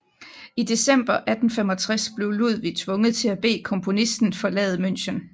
I december 1865 blev Ludwig tvunget til at bede komponisten forlade München